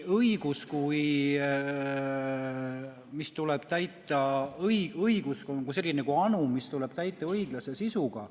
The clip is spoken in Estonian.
Õigus on kui anum, mis tuleb täita õiglase sisuga.